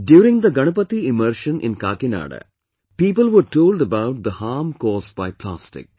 During the Ganpati immersion in Kakinada, people were told about the harm caused by plastic